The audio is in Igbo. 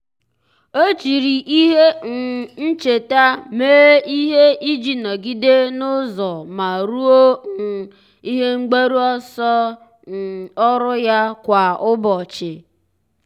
ọ́ jiri ihe um ncheta mee ihe iji nọ́gídé n’ụ́zọ́ ma rúó um ihe mgbaru ọsọ um ọ́rụ́ ya kwa ụ́bọ̀chị̀.